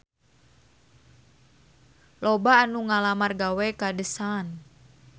Loba anu ngalamar gawe ka The Sun